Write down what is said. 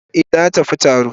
Eh na tafi horo.